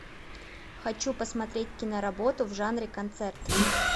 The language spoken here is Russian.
хочу посмотреть киноработу в жанре концерт